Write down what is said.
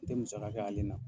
N tɛ musaka k'ale na.